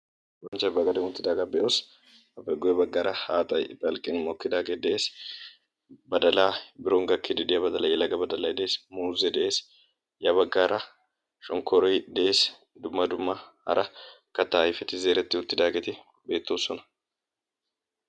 bonchchai baagadi uuttidaagaa be'oos appe guyye baggaara haaxay balqqen mokkidaagee de'ees badalaa biron gakkidi diyaa badalay yalaaga badalay dees muuzee de'ees yaa baggaara shonkkoroy de'esi duma dumma hara kattaa ayfeti zeeretti uttidaageeti beettoosona